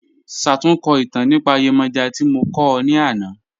Ṣátùnkọ́ itàn nípa Yemoja tí mo kọ̀ ọ́ ní ànà.